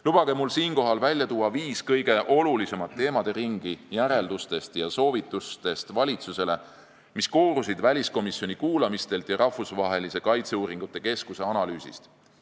Lubage mul välja tuua viis kõige olulisemat teemaringi, mida käsitleti järeldustes ja soovitustes valitsusele ning mis koorusid väliskomisjoni kuulamistelt ja Rahvusvahelise Kaitseuuringute Keskuse analüüsist.